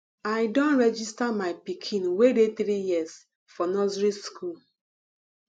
i don register my pikin wey dey three years for nursery school